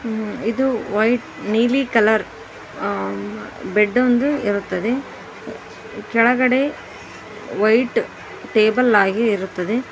ಇದು ವೈಟ್ ನೀಲಿ colour bed ಒಂದು ಇರುತ್ತದೆ ಕೆಳಗಡೆ ವೈಟ್ ಟೇಬಲ್ ಆಗಿ ಇರುತ್ತದೆ.